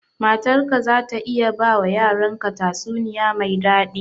Matar ka za ta iya ba wa yaran ka tatsuniya mai daɗi?